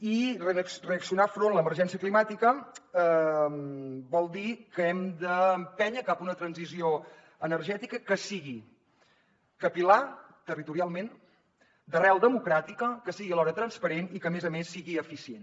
i reaccionar davant l’emergència climàtica vol dir que hem d’empènyer cap a una transició energètica que sigui capil·lar territorialment d’arrel democràtica que sigui alhora transparent i que a més a més sigui eficient